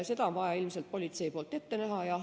Seda on vaja ilmselt politseil ette näha.